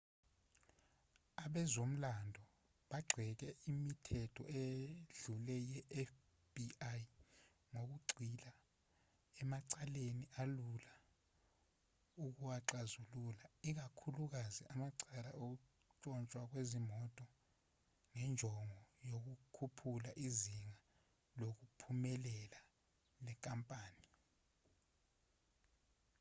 abezomlando bagxeke imithetho edlule yefbi ngokugxila emacaleni alula ukuwaxazulula ikakhulukazi amacala okuntshontshwa kwezimoto ngenjongo yokukhuphula izinga lokuphumelela le nkampani